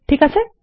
ঠিক আছে